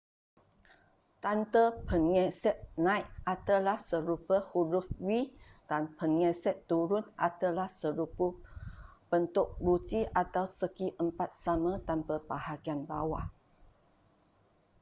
tanda penggesek naik adalah serupa huruf v dan penggesek turun adalah serupa bentuk ruji atau segiempat sama tanpa bahagian bawah